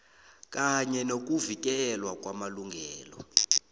kanye nokuvikelwa kwamalungelo